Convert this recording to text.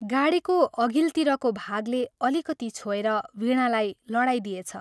गाडीको अघिल्तिरको भागले अलिकति छोएर वीणालाई लडाइदिएछ।